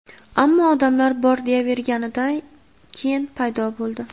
ammo odamlar bor deyaverganidan keyin paydo bo‘ldi.